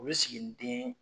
O ye siginiden.